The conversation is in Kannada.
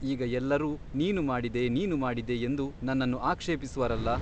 ಈಗ ಎಲ್ಲರೂ ನೀನು ಮಾಡಿದೆ ನೀನು ಮಾಡಿದೆ ಎಂದು ನನ್ನನ್ನು ಆಕ್ಷೇಪಿಸುವರಲ್ಲ !